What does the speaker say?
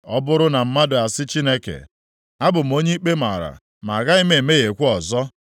“Ọ bụrụ na mmadụ a sị Chineke, ‘Abụ m onye ikpe mara ma agaghị m emehie kwa ọzọ.